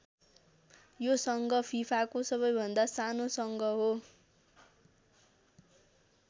यो सङ्घ फिफाको सबैभन्दा सानो सङ्घ हो।